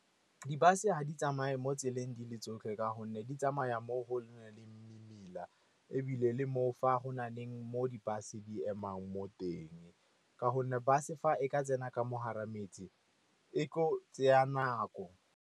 Di-bus-e ga di tsamaye mo tseleng di le tsotlhe, ka gonne di tsamaya mo go nang le mmila, ebile le fa go na leng mo di-bus di emang mo teng ka gonne ba se fa e ka tsena ka mo gare, metse e tlo go tseya nako.